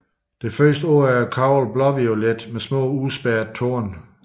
Det første år er koglen blåviolet med små udspærrede torne